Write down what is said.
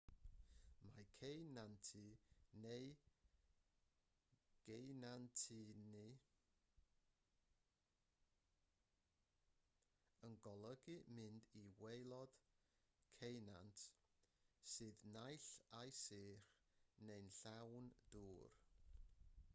mae ceunantu neu geunantannu yn golygu mynd i waelod ceunant sydd naill ai'n sych neu'n llawn dŵr